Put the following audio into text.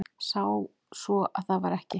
Sá svo að það var ekki.